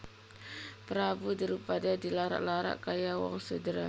Prabu Drupada dilarak larak kaya wong sudra